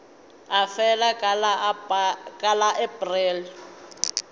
e felago ka la aprele